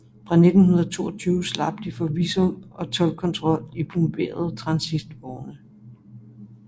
Fra 1922 slap de for visum og toldkontrol i plomberede transitvogne